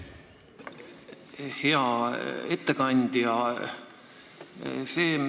Hea ettekandja!